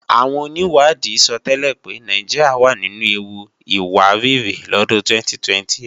Àwọn onìwádìí sọtẹ́lẹ̀ pé Nàìjíríà wà nínu ewu ìwárìrì lọ́dún 2028